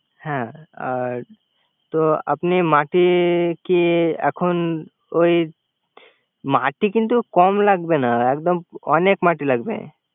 হ্যা আর তো আপনি মাটি কি এখন ওই। মাটি কিন্তু কম লাগবে না একদম অনেক মাটি লাগবে।